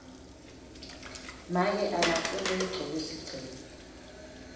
make akafuni ngigcoke sigcebhe